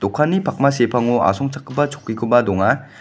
dokani pakma sepango asongchakgipa chokkikoba donga.